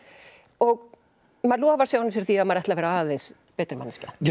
og maður lofar sjálfum sér því að maður ætli að vera aðeins betri manneskja